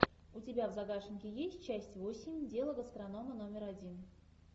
у тебя в загашнике есть часть восемь дело гастронома номер один